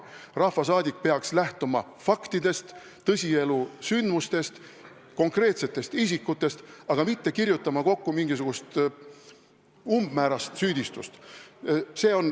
Rahvasaadik peaks lähtuma faktidest, tõsielusündmustest, konkreetsetest isikutest, aga mitte kirjutama kokku mingisugust umbmäärast süüdistust.